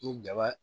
Ni daba